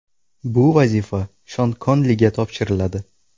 Bu vazifa Shon Konliga topshiriladi.